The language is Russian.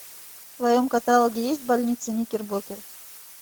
в твоем каталоге есть больница никербокер